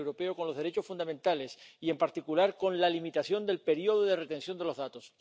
con los derechos fundamentales y, en particular, con la limitación del periodo de conservación de los datos.